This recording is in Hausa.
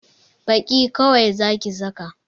Baki kawai Zaki saka!